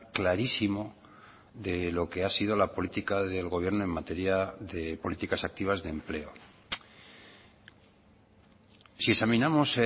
clarísimo de lo que ha sido la política del gobierno en materia de políticas activas de empleo si examinamos